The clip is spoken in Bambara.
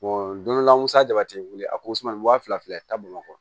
don dɔla musa ja tɛ wuli a kosɔn wa fila fila bamakɔ